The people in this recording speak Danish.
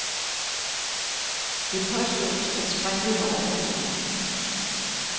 Det påstås, at springet var overtrådt.